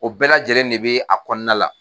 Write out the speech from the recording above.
O bɛɛ lajɛlen de bɛ a kɔnɔna la.